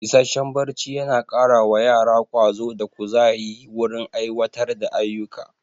Isasshen barci yana kara wa yara ƙwazo da ƙuzayi wurin aiwatar da ayuka